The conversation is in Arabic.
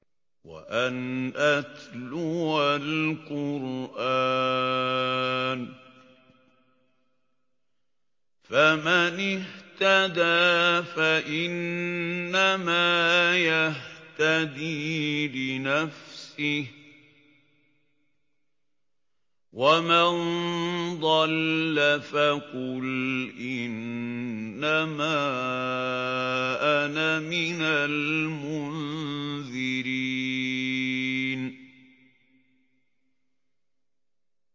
وَأَنْ أَتْلُوَ الْقُرْآنَ ۖ فَمَنِ اهْتَدَىٰ فَإِنَّمَا يَهْتَدِي لِنَفْسِهِ ۖ وَمَن ضَلَّ فَقُلْ إِنَّمَا أَنَا مِنَ الْمُنذِرِينَ